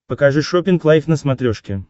покажи шоппинг лайф на смотрешке